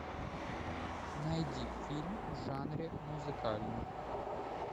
найди фильм в жанре музыкальный